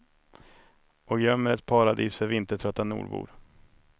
Och gömmer ett paradis för vintertrötta nordbor.